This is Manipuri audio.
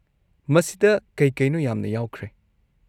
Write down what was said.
ꯃꯁꯤꯗ ꯀꯩ-ꯀꯩꯅꯣ ꯌꯥꯝꯅ ꯌꯥꯎꯈ꯭ꯔꯦ꯫